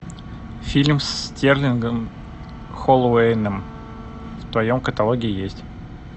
фильм с стерлингом холлоуэйем в твоем каталоге есть